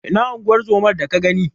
Ina unguwar zomar da ka gani?